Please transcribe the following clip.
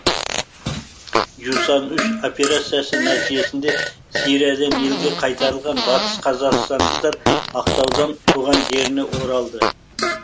жусан үш операциясы нәтижесінде сириядан елге қайтарылған батыс қазақстандықтар ақтаудан туған жеріне оралды